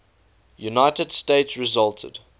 united states resulted